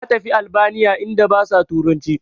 Na tafi albaniya inda basa turanci